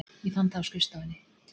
Ég fann það á skrifstofunni.